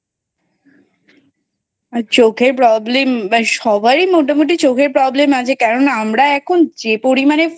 আর চোখের Problem সবারই মোটামোটি চোখের Problem আছে কারণ আমরা এখন যে পরিমানে